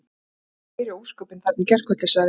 Þetta voru nú meiri ósköpin þarna í gærkvöldi- sagði